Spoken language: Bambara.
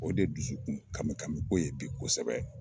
O de dusukun kami kami ko ye bi kosɛbɛ